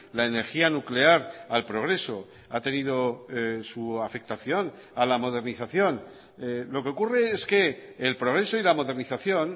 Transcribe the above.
la energía nuclear al progreso ha tenido su afectación a la modernización lo que ocurre es que el progreso y la modernización